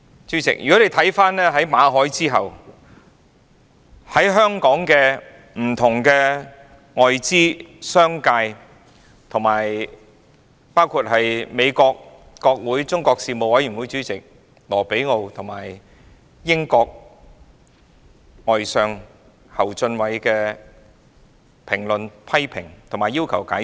主席，在馬凱事件後，香港的不同外資及商界人士，以至美國國會中國事務委員會主席魯比奧和英國外相侯俊偉，均就事件作出評論和批評，並要求解釋。